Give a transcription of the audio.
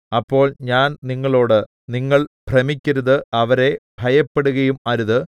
അപ്പോൾ ഞാൻ നിങ്ങളോട് നിങ്ങൾ ഭ്രമിക്കരുത് അവരെ ഭയപ്പെടുകയും അരുത്